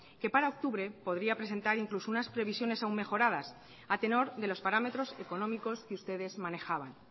que para octubre podría presentar incluso unas previsiones aún mejoradas a tenor de los parámetros económicos que ustedes manejaban